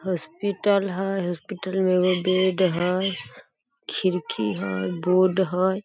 Hospital हई hospital में एगो बेड हई खिड़की हई एगो बोर्ड हई।